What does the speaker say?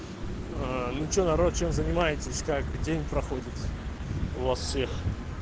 аа ну что народ чем занимаетесь как день проходит у вас всех